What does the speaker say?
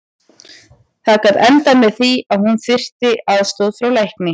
Það gat endað með því að hún þyrfti aðstoð frá lækni.